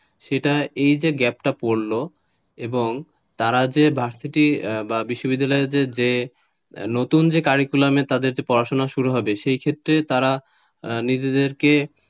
সেটা এই যে gap টা পরল এবং তারা যে ভার্সিটি বা বিশ্ববিদ্যালয় নতুন যে curriculum পড়াশুনা শুরু হবে সেক্ষেত্রে তারা নিজেদেরকে,